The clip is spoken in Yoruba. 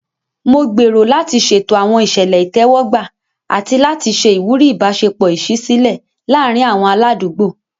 Mo gbèrò láti ṣètò àwọn ìṣẹ̀lẹ̀ ìtẹ́wọ́gbà àti láti ṣe ìwúrí ìbáṣepọ̀ ìṣísílẹ̀ láàárín àwọn aládùúgbò.